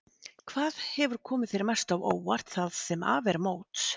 Hvað hefur komið þér mest á óvart það sem af er móts?